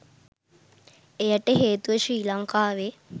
එයට හේතුව ශ්‍රී ලංකාවේ